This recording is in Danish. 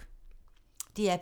DR P2